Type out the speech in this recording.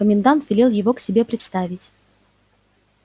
комендант велел его к себе представить